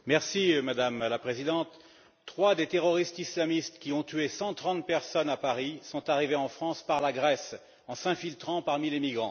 Madame la Présidente, trois des terroristes islamistes qui ont tué 130 personnes à Paris sont arrivés en France par la Grèce en s'infiltrant parmi les migrants.